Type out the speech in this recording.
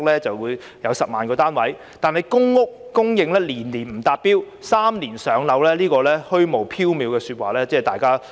然而，公屋供應年年不達標，對於3年"上樓"這虛無縹緲的說話，市民都不知應否相信。